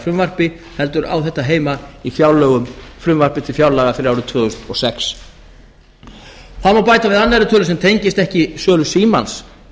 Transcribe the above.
fjáraukalagafrumvarpi heldur í frumvarpi til fjárlaga fyrir árið tvö þúsund og sex það má bæta við annarri tölu sem tengist ekki sölu símans